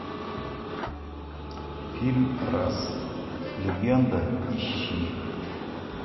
фильм раз легенда ищи